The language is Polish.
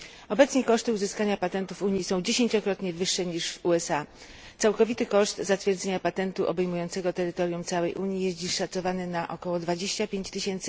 Obecnie koszty uzyskania patentów w Unii są dziesięciokrotnie wyższe niż w USA, a całkowity koszt zatwierdzenia patentu obejmującego terytorium całej Unii jest dziś szacowany na około 25 tys.